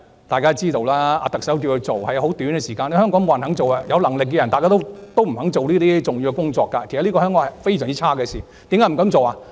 大家也知道，特首請她出任司長，只是很短的時間，香港沒有人肯做，有能力的人大多不肯做這些重要工作，這是香港非常差的一件事。